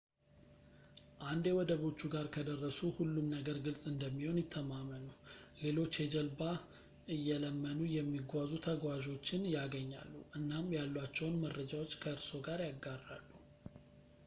አንዴ ወደቦቹ ጋር ከደረሱ ሁሉም ነገር ግልጽ እንደሚሆን ይተማመኑ ሌሎች የጀልባ እየለመኑ የሚጓዙ ተጓዞችን ያገኛሉ እናም ያሏቸውን መረጃዎች ከእርስዎ ጋር ያጋራሉ